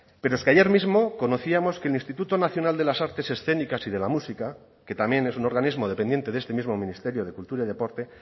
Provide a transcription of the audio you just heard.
pero es que ayer mismo conocíamos que el instituto nacional de las artes escénicas y de la música que también es un organismo dependiente de este mismo ministerio de cultura y deporte